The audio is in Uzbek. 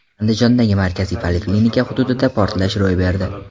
Andijondagi markaziy poliklinika hududida portlash ro‘y berdi.